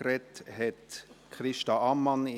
Gesprochen hat Christa Ammann.